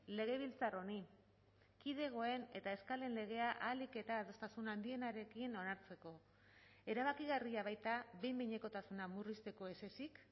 legebiltzar honi kidegoen eta eskalen legea ahalik eta adostasun handienarekin onartzeko erabakigarria baita behin behinekotasuna murrizteko ez ezik